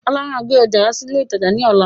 Ọlá máa gbé ọjà wá sí ilé ìtajà ni ọ̀la.